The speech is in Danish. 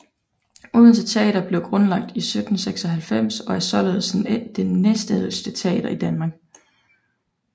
Odense Teater blev grundlagt i 1796 og er således den næstældste teater i Danmark